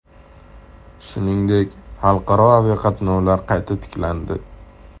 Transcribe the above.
Shuningdek, xalqaro aviqatnovlar qayta tiklandi .